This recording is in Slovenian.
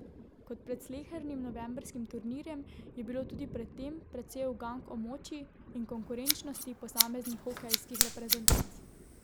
Kot pred slehernim novembrskim turnirjem je bilo tudi pred tem precej ugank o moči in konkurenčnosti posameznih hokejskih reprezentanc.